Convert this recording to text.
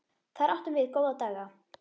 Þar áttum við góða daga.